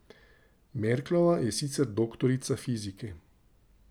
Merklova je sicer doktorica fizike.